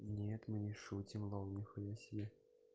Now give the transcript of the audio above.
нет мы не шутим лол нихуя себе